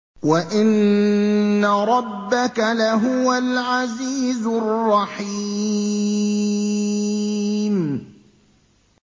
وَإِنَّ رَبَّكَ لَهُوَ الْعَزِيزُ الرَّحِيمُ